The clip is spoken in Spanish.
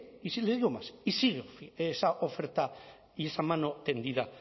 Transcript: digo más y sigue esa oferta y esa mano tendida